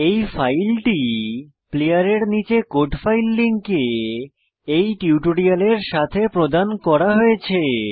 এই ফাইলটি প্লেয়ারের নীচের কোড ফাইল লিঙ্কে এই টিউটোরিয়ালের সাথে প্রদান করা হয়েছে